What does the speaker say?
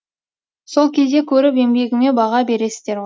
сол кезде көріп еңбегіме баға бересіздер ғой